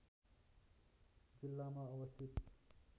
जिल्लामा अवस्थित